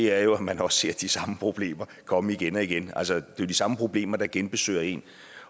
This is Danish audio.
er jo at man også ser de samme problemer komme igen og igen altså det er jo de samme problemer der genbesøger en